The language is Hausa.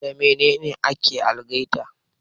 Da Mainene ake algaita?